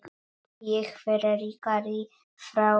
Ég fer ríkari frá þeim.